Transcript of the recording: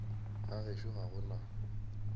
ga gešo ga go na